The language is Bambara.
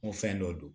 N ko fɛn dɔ don